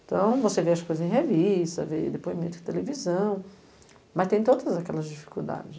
Então, você vê as coisas em revista, vê depoimento de televisão, mas tem todas aquelas dificuldades.